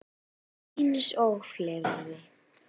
Eins og fleiri.